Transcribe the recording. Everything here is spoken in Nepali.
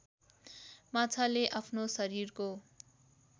माछाले आफ्नो शरीरको